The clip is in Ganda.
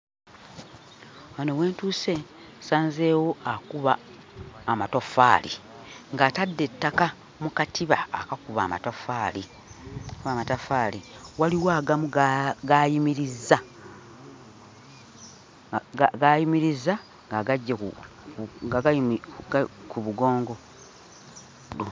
Wano we ntuuse nsanzeewo akuba amatoffaali ng'atadde ettaka mu katiba akakuba amataffaali akakuba amataffaali. Waliwo agamu g'ayimirizza g'ayimirizza ng'agaggye ku nga gayimiridde ku mugongo.